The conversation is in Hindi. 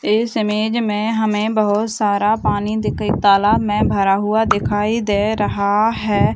इस इमेज मे हमे बहुत सारा पानी दिख तालाब में भरा हुआ दिखाई दे रहा है ।